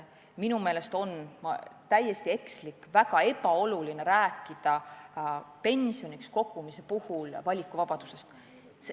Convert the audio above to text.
Minu meelest on täiesti ekslik ja ka väga ebaoluline rääkida pensioniks raha kogumise puhul valikuvabadusest.